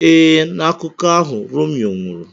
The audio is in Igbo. Ee, na akụkọ ahụ Romeo nwụrụ.